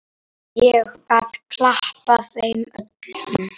Ég get klappað þeim öllum.